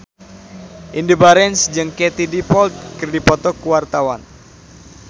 Indy Barens jeung Katie Dippold keur dipoto ku wartawan